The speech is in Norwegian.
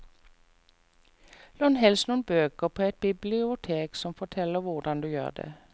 Lån helst noen bøker på et bibliotek som forteller hvordan du gjør det.